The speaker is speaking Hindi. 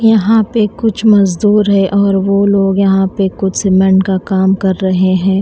यहां पे कुछ मजदूर है और वो लोग यहां पर कुछ सीमेंट का काम कर रहे हैं।